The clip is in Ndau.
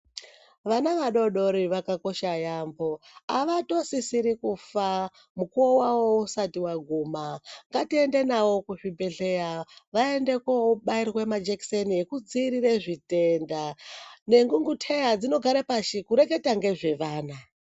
Vana vadodori vakakosha yambo avatosisiri kufa mukuwo wawo usati waguma ngatiende nawo kuzvibhedhlera vaende kobairwe majekiseni yekudziirire zvitenda nengunguteya dzinogare pashi kureketa ngezvevana.